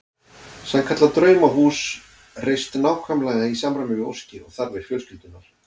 Sannkallað draumahús reist nákvæmlega í samræmi við óskir og þarfir fjölskyldunnar.